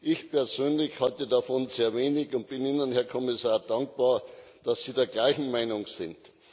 Ich persönlich halte davon sehr wenig und bin Ihnen, Herr Kommissar, dankbar, dass Sie der gleichen Meinung sind.